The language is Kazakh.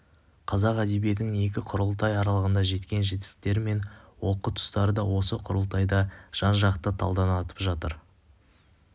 қазақ әдебиетінің екі құрылтай аралығында жеткен жетістіктері мен олқы тұстары да осы құрылтайда жан-жақты талданатын шығар